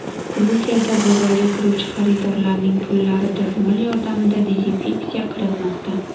Gruziyada bozorga kiruvchi xaridorlarning pullari dazmol yordamida dezinfeksiya qilinmoqda .